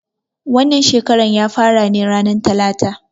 Wannan shekaran ya fara ne ranan talata.